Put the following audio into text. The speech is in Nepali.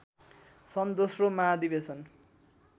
सन् दोस्रो महाधिवेशन